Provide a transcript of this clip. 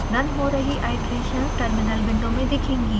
run हो रही iterations terminal window में दिखेंगी